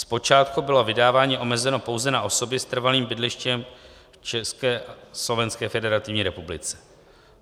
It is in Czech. Zpočátku bylo vydávání omezeno pouze na osoby s trvalým bydlištěm v České a Slovenské Federativní Republice.